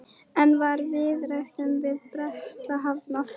En var viðræðum við Breta hafnað?